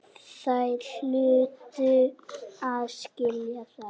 Þeir hlutu að skilja það.